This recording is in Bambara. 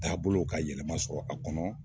Taabolow ka yɛlɛma sɔrɔ a kɔnɔ